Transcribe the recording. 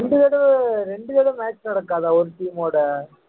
இரண்டு தடவை இரண்டு தடவை match நடக்காதா ஒரு team கூட